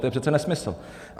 To je přece nesmysl.